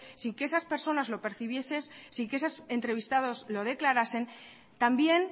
sin que esas personas lo percibiesen sin que esos entrevistados lo declarasen también